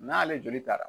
N'ale joli taara